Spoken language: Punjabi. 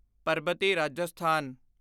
ਪਰਬਤੀ ਰਾਜਸਥਾਨ